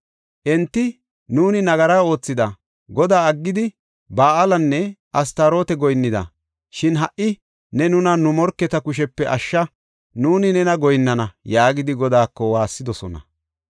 Enti, ‘Nuuni nagara oothida; Godaa aggidi, Ba7aalenne Astaroota goyinnida. Shin ha77i ne nuna nu morketa kushepe ashsha; nuuni nena goyinnana’ yaagidi Godaako waassidosona.